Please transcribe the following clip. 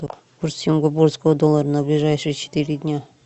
курс сингапурского доллара на ближайшие четыре дня